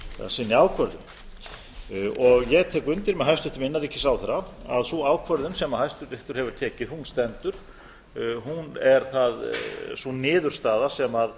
sinni ákvörðun ég tek undir með hæstvirtum innanríkisráðherra að sú ákvörðun sem hæstiréttur hefur tekið stendur hún er sú niðurstaða sem